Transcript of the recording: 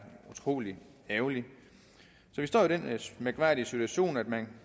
utrolig ærgerligt så vi står i den mærkværdige situation at man